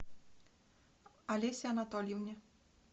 олесе анатольевне